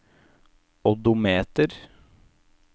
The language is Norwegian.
odometer